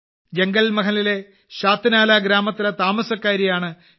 jungle മഹലിലെ ശാത്നാല ഗ്രാമത്തിലെ താമസക്കാരിയാണ് ശ്രീമതി